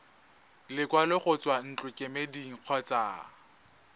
lekwalo go tswa ntlokemeding kgotsa